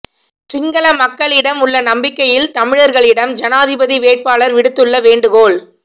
சிங்கள மக்களிடம் உள்ள நம்பிக்கையில் தமிழர்களிடம் ஜனாதிபதி வேட்பாளர் விடுத்துள்ள வேண்டுகோள்